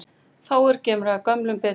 Fáir gera gömlum betur.